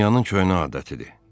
Dünyanın köhnə adətidir.